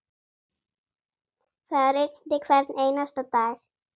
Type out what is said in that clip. Það rigndi hvern einasta dag.